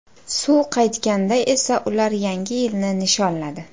Suv qaytganda esa ular Yangi yilni nishonladi.